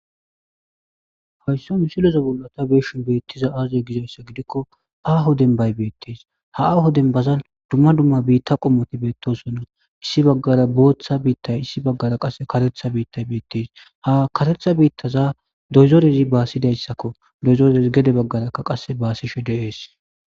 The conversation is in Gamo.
Haysan misileza bollata beeshin beettiza aazee gizayssa gidikko aaho dembay beettees ha aaho dembazan dumma dumma biitta qommoti beettosonna issi baggara booththa biittay issi baggara qase katetha biittay beettes ha katetha biittaza doyzorezi baasidayssakko doyzorez gede baggarakka qasse baasishe deees